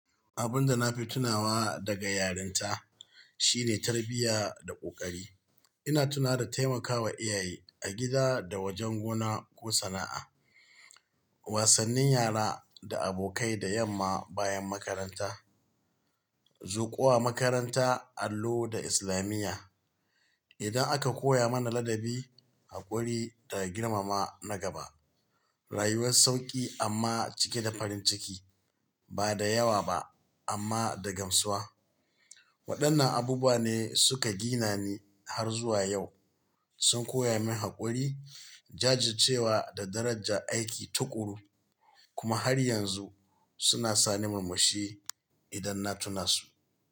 Abun da nafi tunawa daga yarinta shine tarbiyya da ƙoƙari. Ina tuna da taimakawa iyaye a gida da wajen gona ko sana'a, wasannin yara da abokai da yamma bayan makaranta, zuwa makaranta allo da islamiya. Idan aka koya mana ladabi, haƙuri da girmama na gaba, rayuwar sauƙi amma cike da farin ciki, ba da yawa ba amma da gamsuwa. Waɗannan abubuwa ne suka gina ni har zuwa yau, sun koya min haƙuri, jajircewa da darajar aiki tuƙuru. Kuma har yanzu suna sa ni murmushi idan na tuna su.